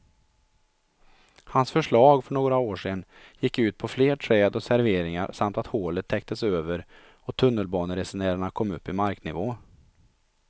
Hans förslag för några år sedan gick ut på fler träd och serveringar samt att hålet täcktes över och tunnelbaneresenärerna kom upp i marknivå.